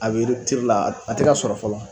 A bɛ la a tɛ sɔrɔ fɔlɔ.